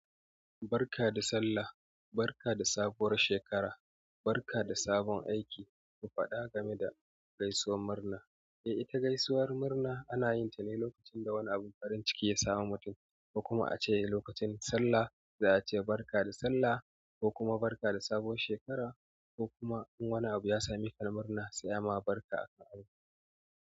Barka da sallah, barka da sabuwar shekara, barka da sabon aiki, ku faɗa game da gaisuwar murna. Ita gaisuwar murna ana yin ta ne lokacin da wani abun farin ciki ya samu mutum, ko kuma a ce lokacin salla za a ce barka da sallah ko kuma barka da sabuwar shekara ko kuma in wani abu ya same ka na murna sai ma barka aka yi.